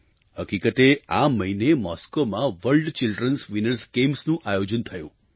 હકીકતે આ મહિને મૉસ્કોમાં વર્લ્ડ ચિલ્ડ્રન્સ વિનર્સ ગેમ્સનું આયોજન થયું